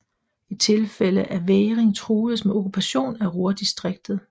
I tilfælde af vægring truedes med okkupation af Ruhrdistriktet